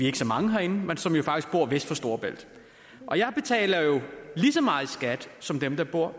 ikke så mange herinde som jo faktisk bor vest for storebælt og jeg betaler jo lige så meget i skat som dem der bor